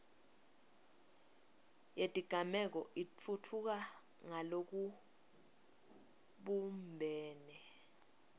yetigameko itfutfuka ngalokubumbene